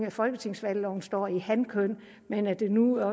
i folketingsvalgloven står i hankøn men at det nu